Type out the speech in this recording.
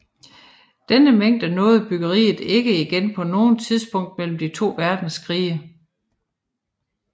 Denne mængde nåede bryggeriet ikke igen på noget tidspunkt mellem de to verdenskrige